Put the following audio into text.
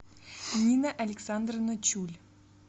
нина александровна чуль